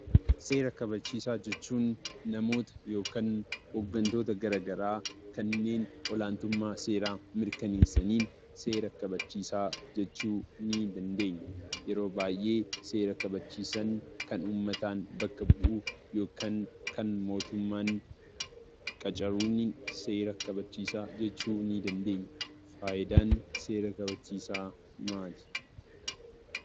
Seera kabachiisaa jechuun namoota yookiin hoggantoota gara garaa kanneen olaantummaa seeraa mirkaneessaniin seera kabachiisaa jechuu ni dandeenya. Yeroo baay'ee seera kabachiisaan kan uummataan bakka bu'u yookiin kan mootummaan qacaruun seera kabachiisaa jechuu ni dandeenya. Faayidaan seera kabachiisaa maali?